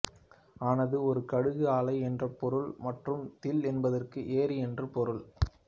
ஆனது ஒரு கடுகு ஆலை என்று பொருள் மற்றும் தில் என்பதற்கு ஏரி என்று பொருள்